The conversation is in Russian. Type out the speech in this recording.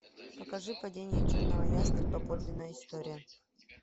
покажи падение черного ястреба подлинная история